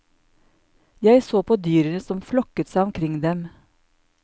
Jeg så på dyrene som flokket seg omkring dem.